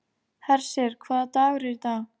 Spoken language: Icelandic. Hersir, hvaða dagur er í dag?